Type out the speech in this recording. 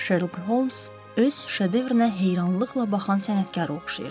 Şerlok Homs öz şedevrinə heyranlıqla baxan sənətkara oxşayırdı.